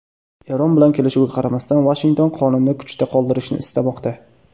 Eron bilan kelishuvga qaramasdan Vashington qonunni kuchda qoldirishni istamoqda.